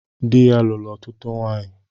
Dị ya lụrụ ọtụtụ nwanyị